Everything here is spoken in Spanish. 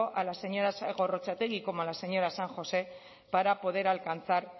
a la señora gorrotxategi como a la señora san josé para poder alcanzar